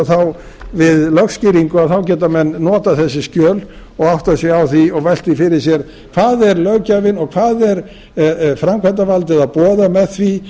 breyting við lögskýringu að þá geta menn notað þessi skjöl og áttað sig á því og velt því fyrir sér hvað er löggjafinn og hvað er framkvæmdarvaldið að boða með því